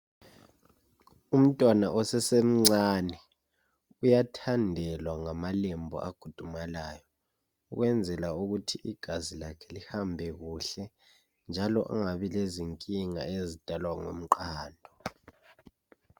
Umntwana osasemncane uyathandelwa ngamalembu agudumalyo ukwenzela ukuthi igazi lakhe lihambe kuhle njalo angabi lezinkinga ezidalwa ngumqando.